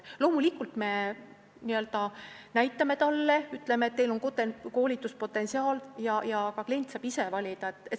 Loomulikult, me näitame talle tema koolituspotentsiaali ja klient saab ise valida.